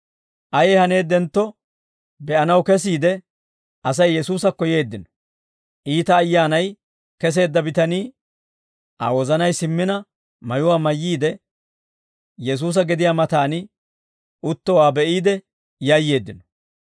Ayee haneeddentto be'anaw kesiide, Asay Yesuusakko yeeddino. Iita ayyaanay keseedda bitanii, Aa wozanay simmina mayuwaa mayyiide Yesuusa gediyaa mataan uttowaa be'iide yayyeeddino.